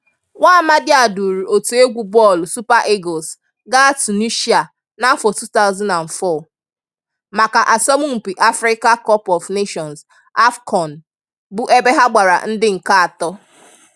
Nwamadị a duuru otu egwu bọọlụ Super Eagles gaa Tunishịa n'afọ 2004, maka asọmpi Africa Cup of Nations (AFCON) bụ ebe ha gbara ndị nke atọ.